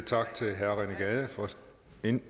en